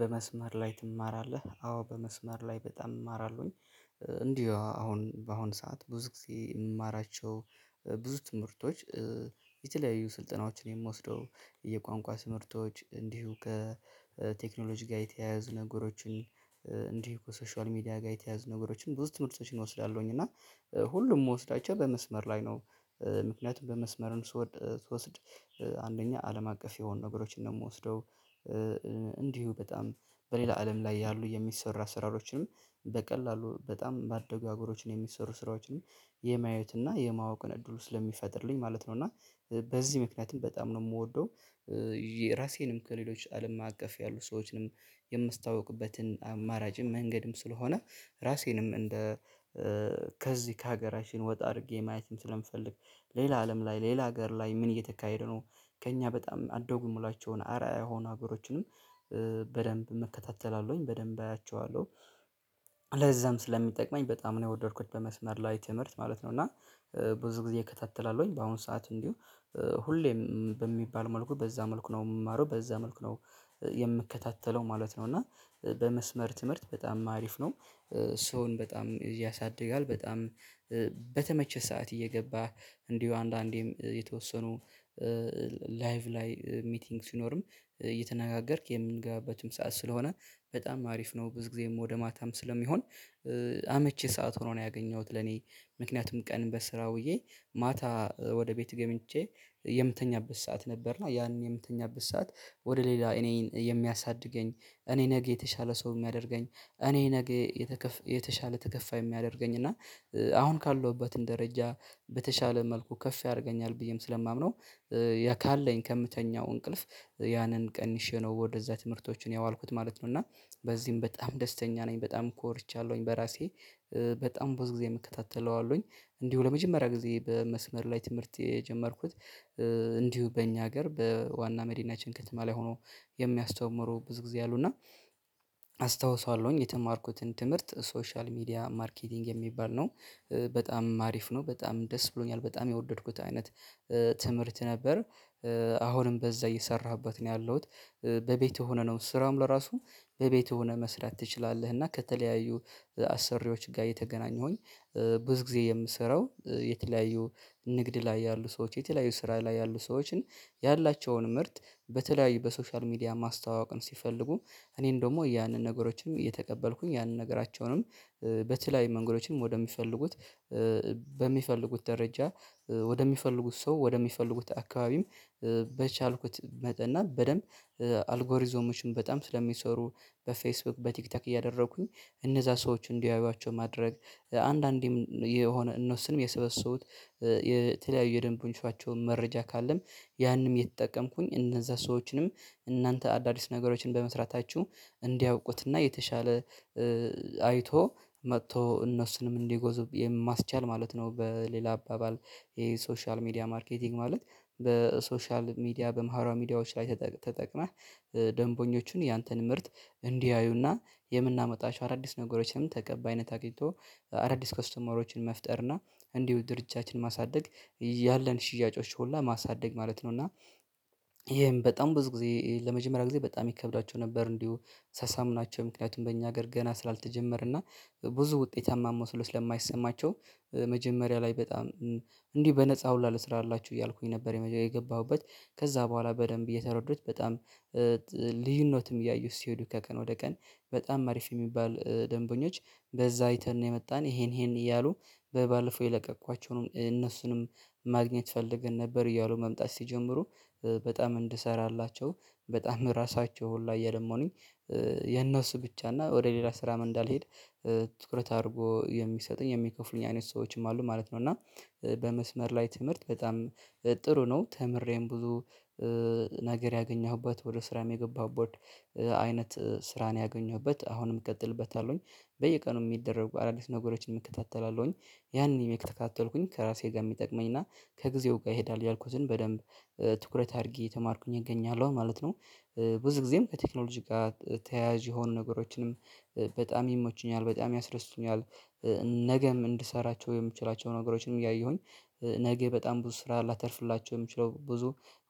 በመስመር ላይ ትማራለህ አዎ በመስመር ላይ በጣም እማራለሁኝ እንዲሁ አሁን በአሁን ሰዓት ብዙ ጊዜ የምማራቸው ብዙ ትምህርቶች፣ የተለያዩ ስልጠናዎችን የምወስደው የቋንቋ ትምህርቶች እንዲሁ ከቴክኖሎጂ ጋር የተያያዙ ነገሮችን፣ እንዲሁ ከሶሻል ሚዲያ ጋር የተያያዙ ነገሮችን ብዙ ትምህርቶችን እወስዳለሁኝ እና ሁሉም ምወስዳቸው በመስመር ላይ ነው። ምክንያቱም በመስመር ስወስድ አንደኛ አለም አቀፍ የሆኑ ነገሮችን እንደምወስደው እንዲሁ በጣም በሌላ አለም ላይ ያሉ የሚሰሩ አሰራሮችንም በቀላሉ በጣም ባደጉ አገሮችን የሚሰሩ ስራዎችንም የማየት እና የማወቅን እድሉ ስለሚፈጥርልኝ ማለት ነው እና በዚህ ምክንያትም በጣም ነው ምወደው ራሴንም ከሌሎች አለም አቀፍ ያሉ ሰዎችንም የማስታውቅበትም አማራጭም መንገድም ስለሆነ ራሴንም እንደ ከዚህ ከሀገራችን ወጣ አድርጌ ማየትም ስለምፈልግ ሌላ አለም ላይ፣ ሌላ ሀገር ላይ ምን እየተካሄደ ነው ከእኛ በጣም አደጉ ምሏቸውን አርአያ የሆኑ ሀገሮችንም በደንብ እከታተላለሁኝ፣ በደንብ አያቸዋለሁ ለዛም ስለሚጠቅመኝ በጣም ነው የወደድኩት በመስመር ላይ ትምህርት ማለት ነው እና ብዙ ጊዜ እከታተላለሁኝ በአሁኑ ሰዓት እንዲሁ ሁሌም በሚባል መልኩ በዛ መልኩ ነው የምማረው በዛ መልኩ ነው የምከታተለው ማለት ነው እና በመስመር ትምህርት በጣም አሪፍ ነው። ሰውን በጣም እዚህ ያሳድጋል። በጣም በተመቸህ ሰዓት እየገባህ እንዲሁ አንዳንዴም የተወሰኑ ላይቭ ላይ ሚቲንግ ሲኖርም እየተነጋገርክ የምንገባበትም ሰዓት ስለሆነ በጣም አሪፍ ነው ብዙ ጊዜም ወደ ማታም ስለሚሆን አመቺ ሰዓት ሆኖ ነው ያገኘሁት ለኔ ምክንያቱም ቀን በስራ ውዬ ማታ ወደ ቤት ገብቼ የምተኛበት ሰዓት ነበርና ያንን የምተኛበት ሰዓት ወደ ሌላ እኔን የሚያሳድገኝ፤ እኔ ነገ የተሻለ ሰው የሚያደርገኝ፤ እኔ ነገ የተሻለ ተከፋይ የሚያደርገኝ እና አሁን ካለሁበትን ደረጃ በተሻለ መልኩ ከፍ ያረገኛል ብዬም ስለማምነው ያ ካለኝ ከምተኛው እንቅልፍ ያንን ቀንሼ ነው ወደዛ ትምህርቶችን ያዋልኩት ማለት ነው እና በዚህም በጣም ደስተኛ ነኝ። በጣም ኮርቻለሁኝ በራሴ በጣም ብዙ ጊዜ እከታተለዋለሁኝ እንዲሁ ለመጀመሪያ ጊዜ በመስመር ላይ ትምህርት የጀመርኩት እንዲሁ በእኛ ሀገር በዋና መዲናችን ከተማ ላይ ሆኖ የሚያስተምሩ ብዙ ጊዜ አሉ እና አስታውሳለሁኝ የተማርኩትን ትምህርት ሶሻል ሚዲያ ማርኬቲንግ የሚባል ነው። በጣም አሪፍ ነው። በጣም ደስ ብሎኛል። በጣም ያወደድኩት አይነት ትምህርት ነበር። አሁንም በዛ እየሰራሁበት ነው ያለሁት በቤት ሆነህ ነው ስራውም ለራሱ በቤት ሆነ መስራት ትችላለህ እና ከተለያዩ አሰሪዎች ጋር እየተገናኙሁኝ ብዙ ጊዜ የምሰራው የተለያዩ ንግድ ላይ ያሉ ሰዎች የተለያዩ ስራ ላይ ያሉ ሰዎችን ያላቸውን ምርት በተለያዩ በሶሻል ሚዲያ ማስተዋወቅን ሲፈልጉ እኔን ደግሞ ያንን ነገሮችንም እየተቀበልኩኝ ያንን ነገራቸውንም በተለያዩ መንገዶችንም ወደሚፈልጉት በሚፈልጉት ደረጃ፤ ወደሚፈልጉት ሰው፤ ወደሚፈልጉት አካባቢም በቻልኩት መጠን እና በደንብ አልጎሪዞሞችን በጣም ስለሚሰሩ በፌስቡክ፣ በቲክቶክ እያደረኩኝ እነዛ ሰዎች እንዲያዩዋቸው ማድረግ አንዳንዴም የሆነ እነሱም የሰበሰቡት የተለያዩ የደንብ ፐርንሲፐላቸው መረጃ ካለም ያንም የተጠቀምኩኝ እነዛ ሰዎችንም እናንተ አዳዲስ ነገሮችን በመስራታችሁ እንዲያውቁትና የተሻለ አይቶ፣ መጥቶ እነሱንም እንዲገዙ የማስቻል ማለት ነው በሌላ አባባል የሶሻል ሚዲያ ማርኬቲንግ ማለት በሶሻል ሚዲያ በማህራዊ ሚዲያዎች ላይ ተጠቅመህ ደንቦኞችን ያንተን ምርት እንዲያዩና የምናመጣችሁ አዳዲስ ነገሮችንም ተቀባይነት አግኝቶ አዳዲስ ከስተመሮችን መፍጠርና እንዲሁ ድርጃችን ማሳደግ ያለን ሽያጮች ሆላ ማሳደግ ማለት ነው እና ይሄም በጣም ብዙ ጊዜ ለመጀመሪያ ጊዜ በጣም ይከብዳቸው ነበር እንዲሁ ሳሳምናቸው ምክንያቱም በእኛ ሀገር ገና ስላልተጀመረ እና ብዙ ውጤታማ መስሎ ስለማይሰማቸው መጀመሪያ ላይ በጣም እንዲህ በነፃ ሁላ ልስራላችሁ እያልኩኝ ነበር የገባሁበት ከዛ በኋላ በደንብ እየተረዱት በጣም ልዩነትም እያየሁት ሲሄዱ ከቀን ወደ ቀን በጣም አሪፍ የሚባል ደንበኞች በዛ አይተን ነው የመጣን ይሄን ይሄን እያሉ በባለፈው የለቀቅኳቸውንም እነሱንም ማግኘት ፈልገን ነበር እያሉ መምጣት ሲጀምሩ በጣም እንድሰራላቸው በጣም ራሳቸው ሁላ እየለመኑኝ የነሱ ብቻ እና ወደ ሌላ ስራም እንዳልሄድ ትኩረት አድርጎ የሚሰጡኝ የሚከፍሉኝ አይነት ሰዎችም አሉ ማለት ነው እና በመስመር ላይ ትምህርት በጣም ጥሩ ነው። ተምሬም ብዙ ነገር ያገኘሁበት ወደ ስራም የገባሁት አይነት ስራ ነው ያገኘሁበት አሁንም እቀጥልበታለሁኝ በየቀኑ የሚደረጉ አዳዲስ ነገሮችን እከታተላለሁኝ። ያንን እየተከታተልኩኝ ከራሴ ጋር የሚጠቅመኝ እና ከጊዜው ጋር ይሄዳል ያልኩትን በደንብ ትኩረት አድርጊ እየተማርኩኝ እገኛለሁ ማለት ነው። ብዙ ጊዜም ከቴክኖሎጂ ጋር ተያያዥ የሆኑ ነገሮችንም በጣም ይሞቹኛል፤ በጣም ያስደስቱኛል። ነገም እንድሰራቸው የምችላቸውን ነገሮችንም እያየሁኝ ነገ በጣም ብዙ ስራ ላተርፍላቸው የምችለው ብዙ